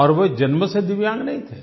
और वे जन्म से दिव्यांग नहीं थे